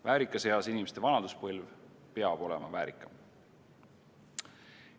Väärikas eas inimeste vanaduspõlv peab olema väärikam.